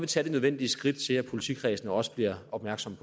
tage det nødvendige skridt til at politikredsene også bliver opmærksomme